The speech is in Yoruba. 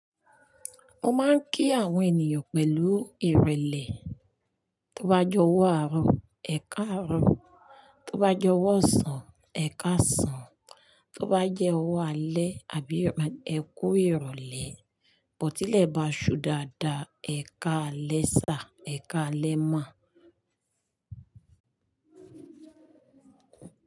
Mo máa ń kí àwọn ènìyàn pẹ̀lú ìrẹ̀lẹ̀. Tó bá je ọwọ́ àárọ̀, ẹ̀ka àárọ̀, tó bá je ọwọ́ ọ̀sán, ẹ̀ka ọ̀sán, tó bá jẹ́ ọwọ́ alẹ́ àbí ẹ kú ìrọ̀lẹ́, bótí lè bá ṣú dáadáa, ẹ̀ka alẹ́ sá, ẹ̀ka alẹ́ ma.